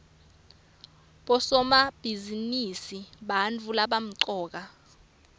bosomabhizinisi bantfu labamcoka